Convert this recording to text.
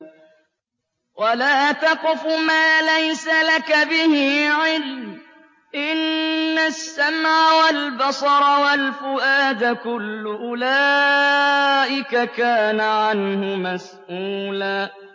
وَلَا تَقْفُ مَا لَيْسَ لَكَ بِهِ عِلْمٌ ۚ إِنَّ السَّمْعَ وَالْبَصَرَ وَالْفُؤَادَ كُلُّ أُولَٰئِكَ كَانَ عَنْهُ مَسْئُولًا